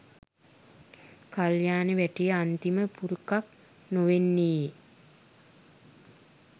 කල්‍යාණ වැටේ අන්තිම පුරුකක් නොවෙන්නේ